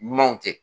Ɲumanw kɛ